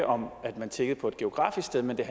om at man tiggede på et geografisk sted men at